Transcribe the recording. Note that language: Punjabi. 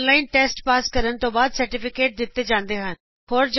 ਇਸ ਨੂੰ ਔਨਲਾਈਨ ਪਾਸ ਕਰਨ ਤੋਂ ਬਾਅਦ ਸਰਟੀਫੀਕੇਟ ਵੀ ਦਿੰਤਾ ਜਾਂਦਾ ਹੈ